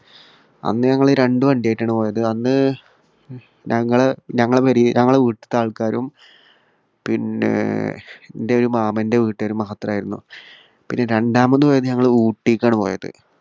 അന്ന് ഞങ്ങൾ രണ്ടു വണ്ടിയായിട്ടാണ് പോയത്. അന്ന് ഞങ്ങൾ ഞങ്ങളുടെ പുരയി ഞങ്ങളുടെ വീട്ടിലത്തെ ആൾക്കാരും പിന്നെ എന്റെ ഒരു മാമ്മന്റെ വീട്ടുകാരും മാത്രമായിരുന്നു. പിന്നെ രണ്ടാമത് പോയത് ഞങ്ങൾ ഊട്ടിക്കാണ് പോയത്.